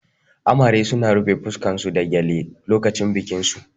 Amare suna rufe fuskar su da gyale lokacin bikin su